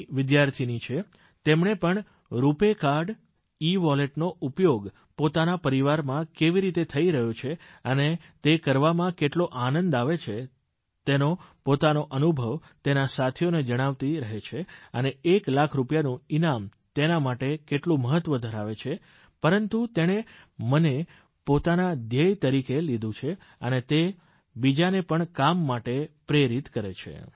ની વિદ્યાર્થીની છે તેમણે પણ રૂપાય કાર્ડ ઇવોલેટનો ઉપયોગ પોતાના પરિવારમાં કેવી રીતે થઇ રહ્યો છે અને તે કરવામાં કેટલો આનંદ આવે છે તેનો પોતાનો અનુભવ તેના સાથીઓને જણાવતી રહે છે અને એક લાખ રૂપિયાનું ઇનામ તેના માટે કેટલું મહત્વ ધરાવે છે પરંતુ તેણે આને પોતાના ધ્યેય તરીકે લીધું છે ને તે બીજાને પણ કામ માટે પ્રેરિત કરે છે